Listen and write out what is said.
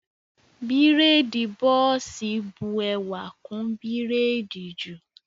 Bírèèdì bọ́ọ̀sì bu ẹwà kún bírèèdì jù